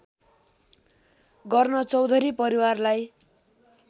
गर्न चौधरी परिवारलाई